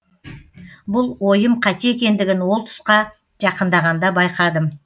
бұл ойым қате екендігін ол тұсқа жақындағанда байқадым